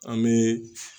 An bɛ